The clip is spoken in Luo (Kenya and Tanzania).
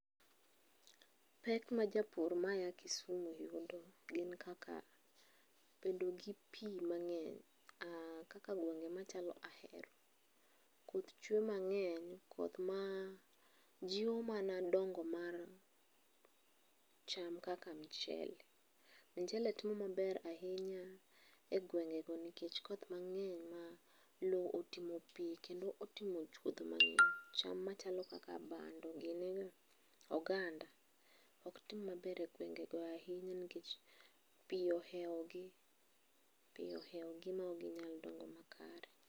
Pek ma japur ma ya Kisumu yudo gin kaka : bedo gi pii mang'eny kaka gwenge machalo Ahero . Koth chwe mang'eny , koth maa jii oo mana dongo mar cham kaka mchele . mchele timo maber ahinya a gwengego nikech koth mang'eny ma lowo otimo pii kendo otimo chwodho mang'eny . .Cham machalo kaka bando gi oganda ok tim maber e gwengo nikech pii ohewo gii, pii ohewo gi ma ok ginyal dongo makare.